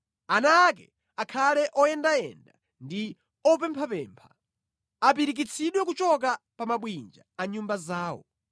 Ana ake akhale oyendayenda ndi opemphapempha; apirikitsidwe kuchoka pa mabwinja a nyumba zawo.